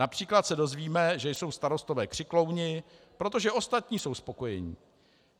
Například se dozvíme, že jsou starostové křiklouni, protože ostatní jsou spokojení.